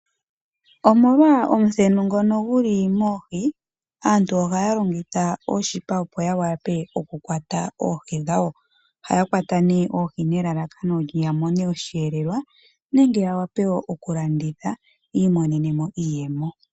Omolwa omuthenu ngono guli moohi, aantu ihaya longitha oonete opo yavule okukwata oohi dhawo. Ohaya kwata nee nelalakano opo yamone osheelelwa, nenge yavule okulanditha, opo yiimonenemo iiyemo.